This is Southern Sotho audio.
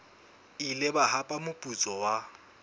ile ba hapa moputso wa